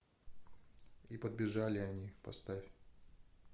и подбежали они поставь